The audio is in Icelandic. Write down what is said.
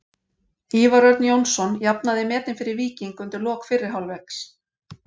Ívar Örn Jónsson jafnaði metin fyrir Víking undir lok fyrri hálfleiks.